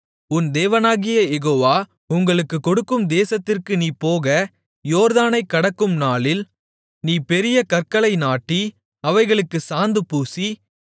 உன் தேவனாகிய யெகோவா உங்களுக்குக் கொடுக்கும் தேசத்திற்கு நீ போக யோர்தானைக் கடக்கும் நாளில் நீ பெரிய கற்களை நாட்டி அவைகளுக்குச் சாந்து பூசி